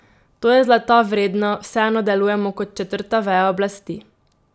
To je zlata vredno, vseeno delujemo kot četrta veja oblasti.